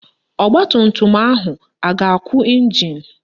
Ọgbatumtum ahụ a ga-akụ ịnjin?